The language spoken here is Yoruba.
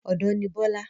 Ọ̀dọ́ ní Bọ́lá